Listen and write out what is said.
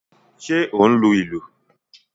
Ṣé ó ń lu ìlù?